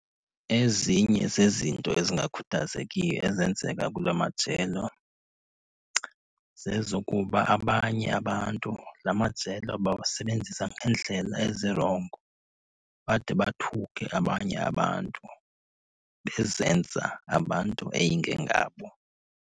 Ezinye zezinto ezingakhuthazekiyo ezenzeka kula majelo zezokuba abanye abantu la majelo bawasebenzisa ngeendlela ezirongo, bade bathuke abanye abantu bezenza abantu eyingengabo.